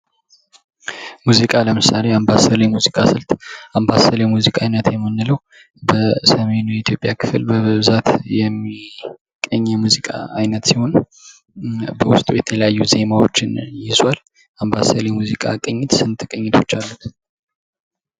ሙዚቃ ለምሳሌ አምባሰል የሙዚቃ ስልት አምባሰል የሙዚቃ አይነት የምንለዉ በሰሜን የኢትዮጵያ ክፍል በብዛት የሚገኝ የሙዚቃ አይነት ሲሆን በዉስጡ የተለያዩ ዜማዎችን ይዟል። አምባሰል የሙዚቃ ቅኝት ስንት ቅኝቶች አሉት?